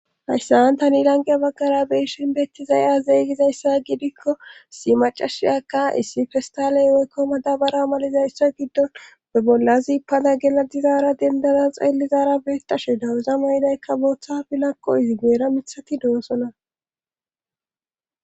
hayssa an tani lanqe baggara be'ishin beettizay aze gizayssa gidikko si macashiyakka issi fistaley woykko madabara malizayssa giddon be bollazipada gela dizaara dendada xeellizara beettashe dawuza maydaykka booththa bilakko izi geera mithati doosona